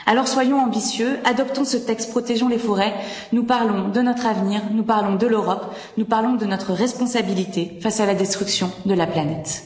Alors soyons ambitieux, adoptons ce texte protégeant les forêts nous parlons de notre avenir, nous parlons de l'Europe, nous parlons de notre responsabilité face à la destruction de la planète.